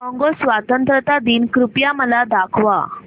Congo स्वतंत्रता दिन कृपया मला दाखवा